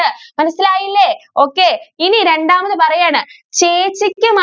മനസ്സിലായില്ലേ? okay ഇനി രണ്ടാമത് പറയാണ്. ചേച്ചിക്കും